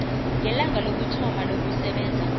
ngelanga lokuthoma lokusebenza